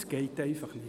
Das geht nicht.